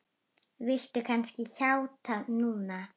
Viltu kannski játa núna?